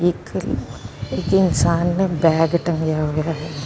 ਇਕ ਇਕ ਇਨਸਾਨ ਨੇ ਬੈਗ ਟੰਗਿਆ ਹੋਇਆ ।